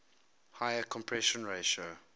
higher compression ratio